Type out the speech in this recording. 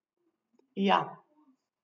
Ja.